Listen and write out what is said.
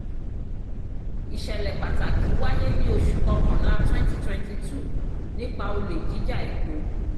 ìṣẹ̀lẹ̀ pàtàkì wáyé ní oṣù kọkànlá twenty twenty two nípa olè jíjà epo.